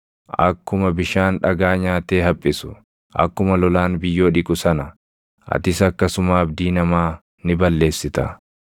akkuma bishaan dhagaa nyaatee haphisu, akkuma lolaan biyyoo dhiqu sana, atis akkasuma abdii namaa ni balleessita.